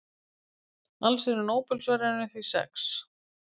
Alls eru Nóbelsverðlaunin því sex.